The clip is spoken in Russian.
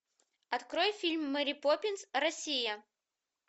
открой фильм мэри поппинс россия